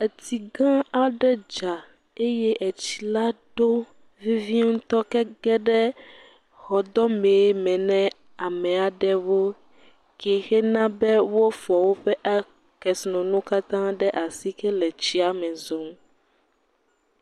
Etsi gã aɖe dza eye etsi la ɖo vevie ŋutɔ ke ege ɖe xɔdɔme me na ame aɖewo ke xe na be wofɔ woƒe agb..a.., kesinɔnuwo katã ɖe asi le tsi me zɔm.